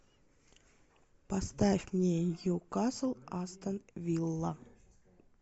поставь мне ньюкасл астон вилла